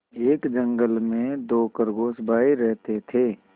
एक जंगल में दो खरगोश भाई रहते थे